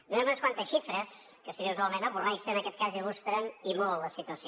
donarem unes quantes xifres que si bé usualment avorreixen en aquest cas illustren i molt la situació